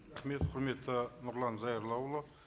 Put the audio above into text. рахмет құрметті нұрлан зайроллаұлы